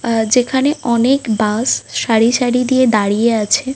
আহ যেখানে অনেক বাস সারি সারি দিয়ে দাঁড়িয়ে আছে |.